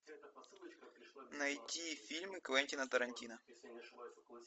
найти фильмы квентина тарантино